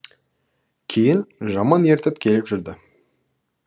кейін жаман ертіп келіп жүрді